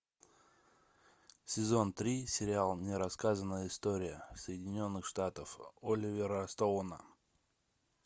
сезон три сериал нерассказанная история соединенных штатов оливера стоуна